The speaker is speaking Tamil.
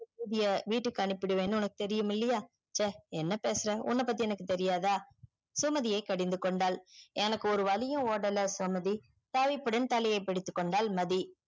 வீட்டுக்கு அனுபிடுவனு உனக்கு தெரியுமில்லையா ச்ச என்ன பேசுற உன்ன பத்தி எனக்கு தெரியாத சுமதியே கடிந்து கொண்டால் எனக்கு ஒரு வழியும் ஓடல சுமதி தவிப்புடன் தலையே பிடித்து கொண்டான்